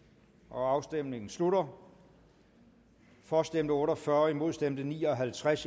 afstemningen slutter for stemte otte og fyrre imod stemte ni og halvtreds